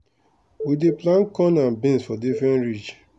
we dey plant corn and beans for different ridge.